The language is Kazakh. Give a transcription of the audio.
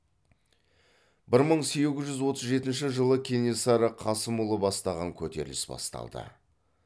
бір мың сегіз жүз отыз жетінші жылы кенесары қасымұлы бастаған көтеріліс басталды